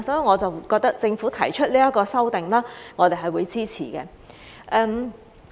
我覺得政府現在提出修例，我們是會支持的。